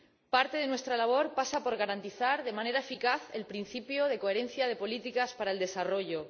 Parte de nuestra labor pasa por garantizar de manera eficaz el principio de coherencia de las políticas para el desarrollo